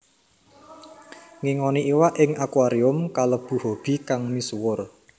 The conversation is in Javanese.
Ngingoni iwak ing akuarium kalebu hobi kang misuwur